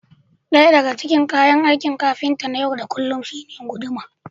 ɗaya daga cikin kayan aikin kafinta na yau da kullum shine guduma